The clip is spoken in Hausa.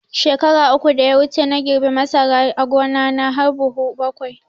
Shekara uku da ya wuce na girbe masara a gona na har buhu bakwai